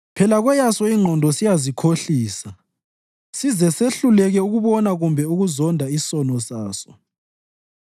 Phela kweyaso ingqondo siyazikhohlisa size sehluleke ukubona kumbe ukuzonda isono saso.